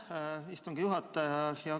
Aitäh, istungi juhataja!